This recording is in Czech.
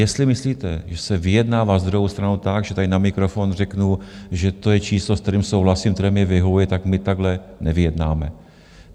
Jestli myslíte, že se vyjednává s druhou stranou tak, že tady na mikrofon řeknu, že to je číslo, s kterým souhlasím, které mi vyhovuje, tak my takhle nevyjednáváme.